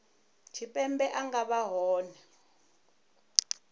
tshipembe a nga vha hone